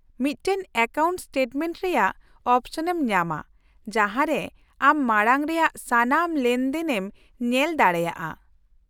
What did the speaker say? -ᱢᱤᱫᱴᱟᱝ account statement ᱨᱮᱭᱟᱜ ᱚᱯᱥᱚᱱᱮᱢ ᱧᱟᱢᱟ, ᱡᱟᱦᱟᱸ ᱨᱮ ᱟᱢ ᱢᱟᱲᱟᱝ ᱨᱮᱭᱟᱜ ᱥᱟᱱᱟᱢ ᱞᱮᱱᱫᱮᱱᱮᱢ ᱧᱮᱞ ᱫᱟᱲᱮᱭᱟᱜᱼᱟ ᱾